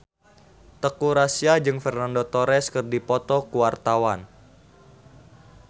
Teuku Rassya jeung Fernando Torres keur dipoto ku wartawan